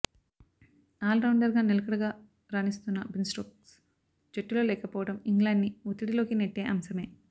ఆల్రౌండర్గా నిలకడగా రాణిస్తున్న బెన్స్టోక్స్ జట్టులో లేకపోవడం ఇంగ్లాండ్ని ఒత్తిడిలోకి నెట్టే అంశమే